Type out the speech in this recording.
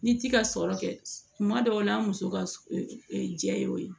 Ni ci ka sɔrɔ kɛ tuma dɔw la an muso ka jɛ ye o ye